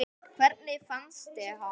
Hvernig fannstu hann?